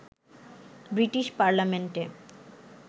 British পার্লামেন্টে